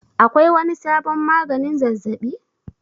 Akwai wani sabon magani zazzabi?